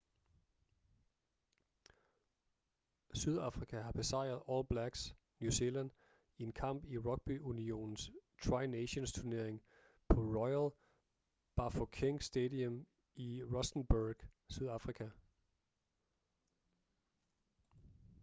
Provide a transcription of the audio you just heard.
sydafrika har besejret all blacks new zealand i en kamp i rugby-unionens tri nations-turnering på royal bafokeng stadium i rustenburg sydafrika